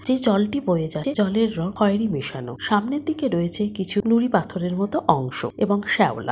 যে জলটি বয়ে যাছে সেই জলের রং খয়েরি মেশানো | সামনের দিকে রয়েছে কিছু নুড়ি পাথরের মত অংশ এবং শ্যাওলা।